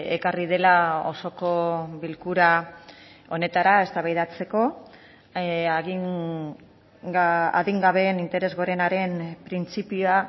ekarri dela osoko bilkura honetara eztabaidatzeko adingabeen interes gorenaren printzipioa